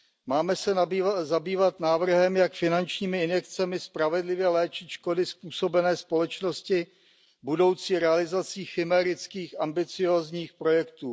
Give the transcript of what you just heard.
Máme se zabývat návrhem, jak finančními injekcemi spravedlivě léčit škody způsobené společnosti budoucí realizací chimérických ambiciózních projektů.